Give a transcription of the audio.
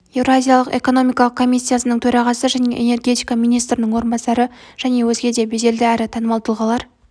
еуразиялық экономикалық комиссияның төрағасы және энергетика министрінің орынбасары және өзге де беделді әрі танымал тұлғалар